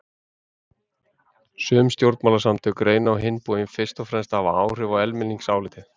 Sum stjórnmálasamtök reyna á hinn bóginn fyrst og fremst að hafa áhrif á almenningsálitið.